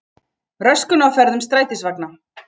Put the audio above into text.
Röskun á ferðum strætisvagna